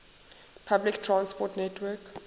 public transport network